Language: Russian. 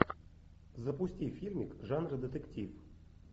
запусти фильмик жанра детектив